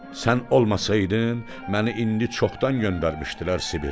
Sən olmasaydın məni indi çoxdan göndərmişdilər Sibirə.